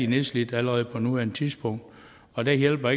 nedslidt allerede på nuværende tidspunkt og der hjælper